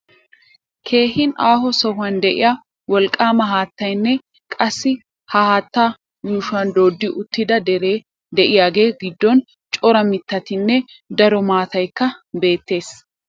Keehi aaho sohuwan de'iya wolqqaama haattaynne qassi ha haattaa yuushuwan dooddi uttida deree de'iyagaa giddon cora mittatinne daro maataykka beettees.